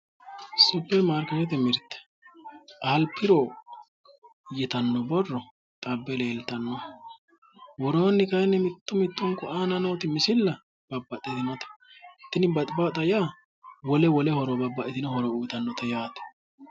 Supirimaarkeetete giddo tini alpro ytano borro xabbe leelittano, luri babbaxino garinni horonsirate woronireti